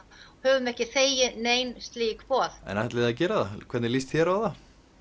höfum ekki þegið nein slík boð en ætlið þið að gera það hvernig líst þér á